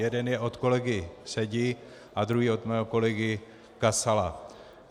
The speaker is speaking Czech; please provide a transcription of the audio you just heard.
Jeden je od kolegy Sedi a druhý od mého kolegy Kasala.